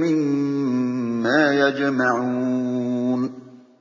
مِّمَّا يَجْمَعُونَ